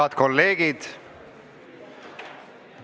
Head kolleegid!